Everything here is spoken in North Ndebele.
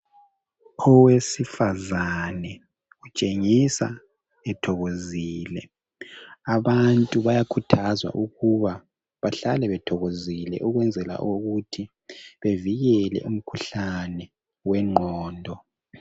Owesifazane utshengisa ethokozile. Abantu bayakhuthazwa ukuba bahlale bethokozile ukwenzela ukuthi bevikele umkhuhlane wengqondo.